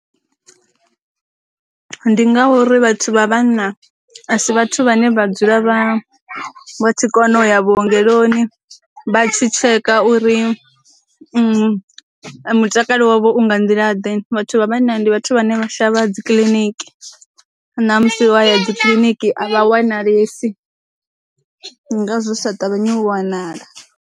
Ndi ngauri vhathu vha vhanna a si vhathu vhane vha dzula vha tshi kona u ya vhuongeloni vha tshi tsheka uri mutakalo wavho u nga nḓila ḓe, vhathu vha vhanna ndi vhathu vhane vha shavha dzi kiḽiniki ṋamusi waya dzi kiliniki a vha wana lesi ndi nga zwo sa ṱavhanye u wanala.